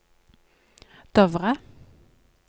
Dovre